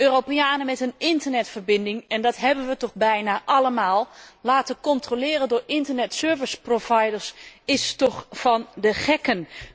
Europeanen met een internetverbinding en dat hebben wij toch bijna allemaal laten controleren door internet service providers is toch van de gekken.